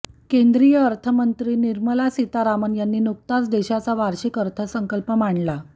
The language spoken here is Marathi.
केंद्रीय अर्थमंत्री निर्मला सीतारामन यांनी नुकताच देशाचा वार्षिक अर्थसंकल्प मांडला